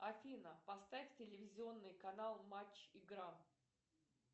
афина поставь телевизионный канал матч игра